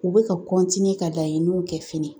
U bɛ ka ka laɲiniw kɛ fɛnɛ